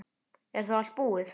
Er þá allt búið?